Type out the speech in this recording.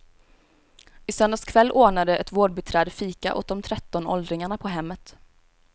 I söndags kväll ordnade ett vårdbiträde fika åt de tretton åldringarna på hemmet.